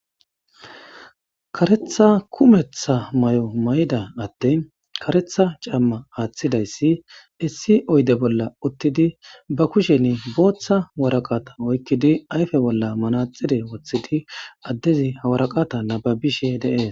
karetha kumetha may mayida adey karetha cama athidaes issi oyde bolla utidi ba kushen botha waraqata oykidi ayfe bolla manaxire wothidi adezi ha wsraqata nababishe de'es